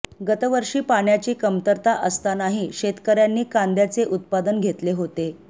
गतवर्षी पाण्याची कमतरता असतानाही शेतकऱ्यांनी कांद्याचे उत्पादन घेतले होते